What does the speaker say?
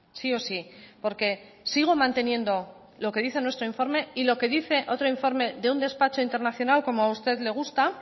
sí o sí porque sigo manteniendo lo que dice nuestro informe y lo que dice otro informe de un despacho internacional como a usted le gusta